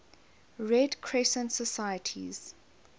red crescent societies